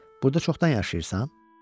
Burda çoxdan yaşayırsan?